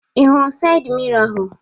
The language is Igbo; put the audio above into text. Ị hụrụ sayịd miro ahụ?